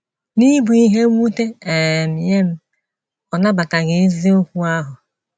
N’ịbụ ihe mwute um nye m, ọ nabataghị eziokwu ahụ.